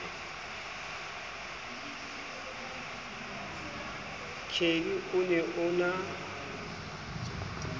kelly o ne o na